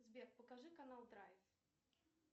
сбер покажи канал драйв